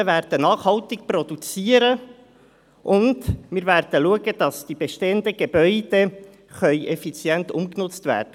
Die Landwirte werden nachhaltig produzieren, und wir werden schauen, dass die bestehenden Gebäude effizient umgenutzt werden.